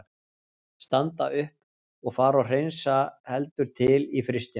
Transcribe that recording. Standa upp og fara og hreinsa heldur til í frystinum.